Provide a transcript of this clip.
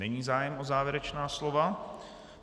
Není zájem o závěrečná slova.